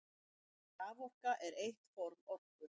Raforka er eitt form orku.